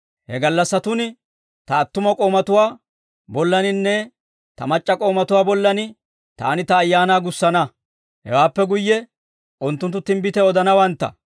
He gallassatun ta attuma k'oomatuwaa bollaninne ta mac'c'a k'oomatuwaa bollan Taani Ta Ayaanaa gussana. Hewaappe guyye unttunttu timbbitiyaa odanawantta.